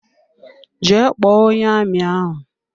Jee kpọọ onye amị ahụ!